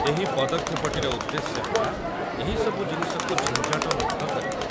ଏହି ପଦକ୍ଷେପଟିର ଉଦ୍ଦେଶ୍ୟ ହେଲା ଏହିସବୁ ଜିନିଷକୁ ଝିଞ୍ଜଟ ମୁକ୍ତ କରିବା ।